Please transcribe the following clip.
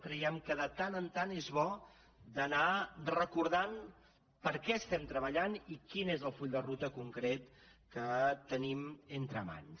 creiem que de tant en tant és bo anar recordant per què estem treballant i quin és el full de ruta concret que tenim entre mans